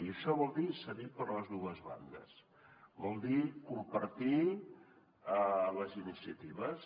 i això vol dir cedir per les dues bandes vol dir compartir les iniciatives